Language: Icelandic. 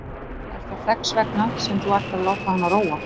Er það þess vegna sem þú ætlar að láta hana róa?